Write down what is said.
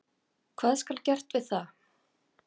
Hvað skal gert við það?